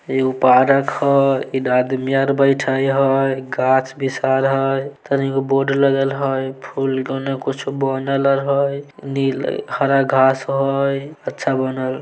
एगो पार्क हई इने आदमी आर बैठे हई गाछ विशाल हई तनी गो बोर्ड लगल हई फूल के उने कुछ बनल आर हई नील हरा घास हई अच्छा बनल --